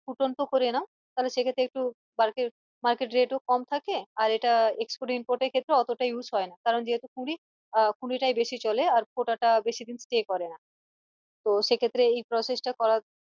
ফুটন্ত করে নাও তালে সেক্ষেত্রে একটু market rate ও কম থাকে আর এটা export import এর ক্ষেত্রে অতটা use হয়না কারন যেহেতু কুড়ি আহ কুড়িটাই বেশি চলে আর ফোটাটা বেশী দিন stay করেনা তো সেক্ষেত্রে এই process টা করার